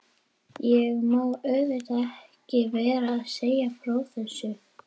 Ég mátti auðvitað ekki vera að segja frá þessu.